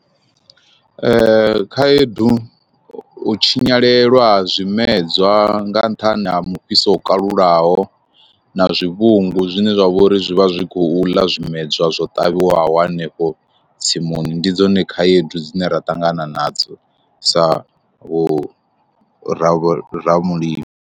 Khaedu u tshinyalelwa ha zwimedzwa nga nṱhani ha mufhiso wo kalulaho, na zwivhungu zwine zwa vhori zwi vha zwi zwi khou ḽa zwimedzwa zwo ṱavhiwaho hanefho tsimuni, ndi dzone khaedu dzine ra ṱangana nadzo sa vhu ravhura muli.